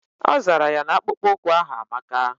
Ọzara ya na akpụkpọ ụkwụ ahu amaka